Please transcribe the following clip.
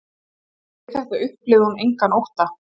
Við þetta upplifði hún engan ótta